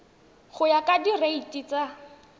go ya ka direiti tsa